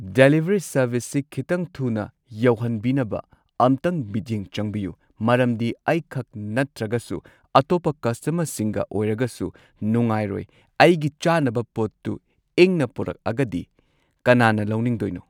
Delivery ꯁꯔꯕꯤꯁꯁꯤ ꯈꯤꯠꯇꯪ ꯊꯨꯅ ꯌꯧꯍꯟꯕꯤꯅꯕ ꯑꯝꯇꯪ ꯃꯤꯠꯌꯦꯡ ꯆꯪꯕꯤꯌꯨ ꯃꯔꯝꯗꯤ ꯑꯩ ꯈꯛ ꯅꯠꯇ꯭ꯔꯒꯁꯨ ꯑꯇꯣꯞꯄ ꯀꯁꯇꯃꯔꯁꯤꯡꯒ ꯑꯣꯏꯔꯒꯁꯨ ꯅꯨꯡꯉꯥꯏꯔꯣꯏ ꯑꯩꯒꯤ ꯆꯥꯅꯕ ꯄꯣꯠꯇꯨ ꯏꯪꯅ ꯄꯨꯔꯛꯑꯒꯗꯤ ꯀꯅꯥꯅ ꯂꯧꯅꯤꯡꯗꯣꯏꯅꯣ꯫